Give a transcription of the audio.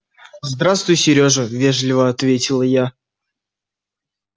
здравствуй сережа вежливо ответила я